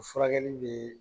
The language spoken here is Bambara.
Furakɛli bɛ